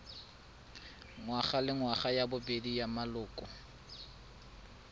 ngwagalengwaga ya bobedi ya maloko